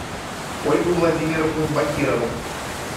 ольгу владимировну бакирову